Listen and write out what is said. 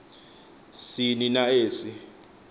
sini na esi